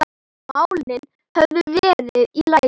málin hefðu verið í lagi.